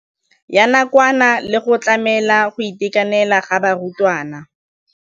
Ya nakwana le go tlamela go itekanela ga barutwana.